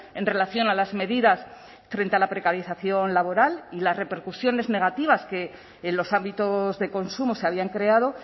en relación a las medidas frente a la precarización laboral y las repercusiones negativas que en los ámbitos de consumo se habían creado